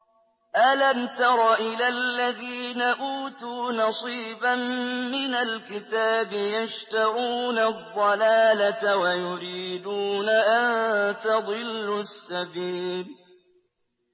أَلَمْ تَرَ إِلَى الَّذِينَ أُوتُوا نَصِيبًا مِّنَ الْكِتَابِ يَشْتَرُونَ الضَّلَالَةَ وَيُرِيدُونَ أَن تَضِلُّوا السَّبِيلَ